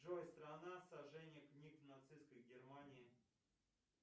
джой страна сожжения книг нацисткой германии